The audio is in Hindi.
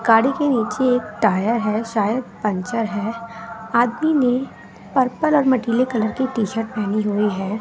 गाड़ी के नीचे एक टायर है शायद पंचर है। आदमी ने पर्पल और मटीले कलर की टी_शर्ट पहनी हुई है।